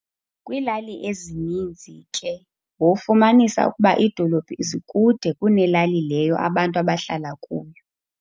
kwiilali ezininzi ke wofumanisa ukuba iidolophu zikude kunelali leyo abantu abahlala kuyo.